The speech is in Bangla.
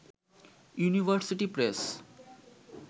university press